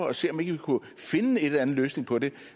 at se om ikke vi kunne finde en eller anden løsning på det